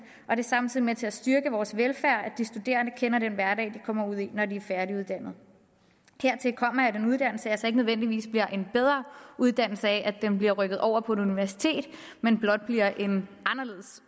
er samtidig med til at styrke vores velfærd at de studerende kender den hverdag de kommer ud i når de er færdiguddannede hertil kommer at en uddannelse altså ikke nødvendigvis bliver en bedre uddannelse af at den bliver rykket over på et universitet men blot bliver en anderledes